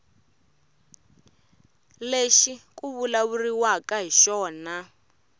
lexi ku vulavuriwaka hi xona